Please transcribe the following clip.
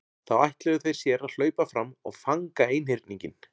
Þá ætluðu þeir sér að hlaupa fram og fanga einhyrninginn.